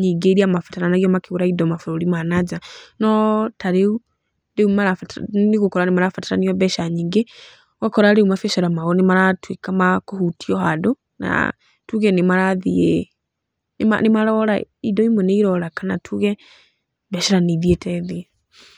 nyingĩ iria mabataranagia makĩgũra indo mabũrũri ma nanja. No tarĩu, rĩũ marabatara, rĩũ nĩ ũgũkora marabataranio mbeca nyingĩ. Ũgakora rĩu mabiacara mao nĩ maratuĩka ma kũhutioa handũ, tuge nĩ marathiĩ, indo imwe nĩ irora, kana tuge mbeca nĩ ithiĩte thĩ.